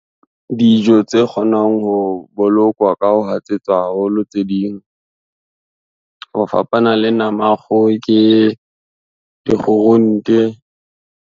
Dijo tse kgonang ho bolokwa ka ho hatsetswa haholo tse ding, ho fapana le nama ya kgoho, ke dikgurunte.